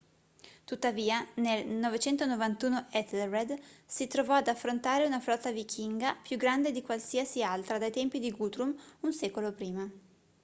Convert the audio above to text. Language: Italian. tuttavia nel 991 ethelred si trovò ad affrontare una flotta vichinga più grande di qualsiasi altra dai tempi di guthrum un secolo prima